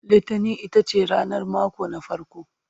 littani itace ranar mako ta farko